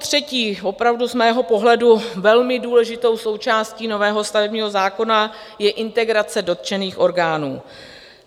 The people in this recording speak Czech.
Třetí, opravdu z mého pohledu velmi důležitou součástí nového stavebního zákona je integrace dotčených orgánů.